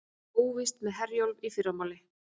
Óvíst með Herjólf í fyrramálið